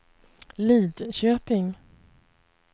Lidköping